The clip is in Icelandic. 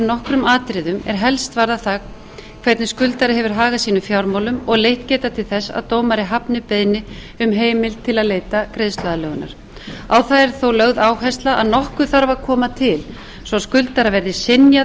nokkrum atriðum er helst varða það hvernig skuldari hefur hagað sínum fjármálum og leitt geta til þess að dómari hafni beiðni um heimild til að leita greiðsluaðlögunar á það yrði þó lögð áhersla að nokkuð þurfi að koma til svo skuldara verði synjað